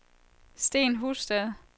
Sten Husted